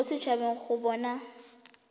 mo set habeng go bona